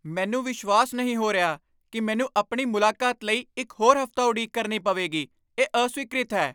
ਮੈਨੂੰ ਵਿਸ਼ਵਾਸ ਨਹੀਂ ਹੋ ਰਿਹਾ ਕਿ ਮੈਨੂੰ ਆਪਣੀ ਮੁਲਾਕਾਤ ਲਈ ਇੱਕ ਹੋਰ ਹਫ਼ਤਾ ਉਡੀਕ ਕਰਨੀ ਪਵੇਗੀ। ਇਹ ਅਸਵੀਕ੍ਰਿਤ ਹੈ।